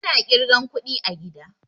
Ana ƙirgan kuɗi a gida